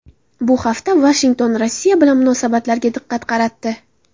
Bu hafta Vashington Rossiya bilan munosabatlariga diqqat qaratdi.